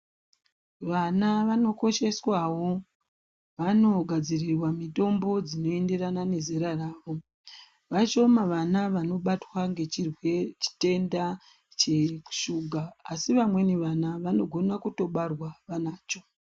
Vana vanokosheswawo vanogadzirirwa mitombo dzinoenderana nezera ravo, vashoma vana vanobatwa ngechitenda cheshuga asi vamweni vana vanogona kutobarwa vanacho.